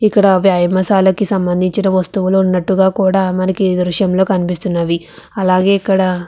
ఇక్కడ వ్యాయామషాలకి సంబంధించిన వస్తువులు ఉన్నట్టుగా కూడా మనకి ఈ దృశ్యంలో కనిపిస్తున్నవి అలాగే ఇక్కడ --